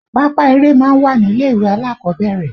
Pápá eré máa ń wà nílé ìwé alákọ̀ọ́bẹ̀rẹ̀